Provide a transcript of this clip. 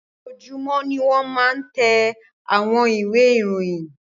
Ojoojúmọ́ ni wọ́n máa ń tẹ àwọn ìwé ìròyìn.